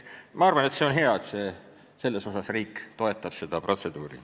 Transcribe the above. Ma arvan, et see on hea, et riik toetab seda protseduuri.